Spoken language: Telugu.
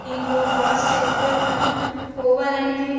కాస్ట్ ఎక్కువే కానీ పోవాలనేది--